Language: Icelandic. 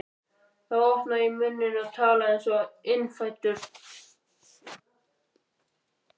Þá opnaði ég munninn og talaði einsog innfæddur